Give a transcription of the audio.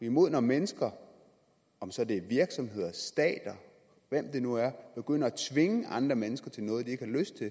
imod når mennesker om så det er virksomheder stater hvem det nu er begynder at tvinge andre mennesker til noget de ikke har lyst til